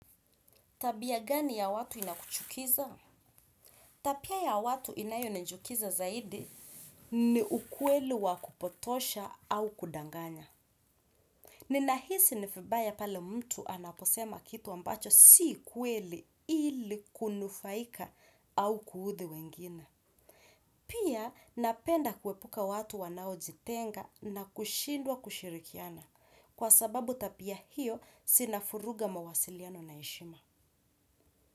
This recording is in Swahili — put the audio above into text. Tabia gani ya watu inakuchukiza? Tapia ya watu inayonijukiza zaidi. Ni ukweli wa kupotosha au kudanganya. Ninahisi ni vibaye pale mtu anaposema kitu ambacho si kweli ili kunufaika au kuudhi wengine. Pia napenda kuepuka watu wanaojitenga na kushindwa kushirikiana. Kwa sababu tapia hiyo sinafuruga mawasiliano na heshima.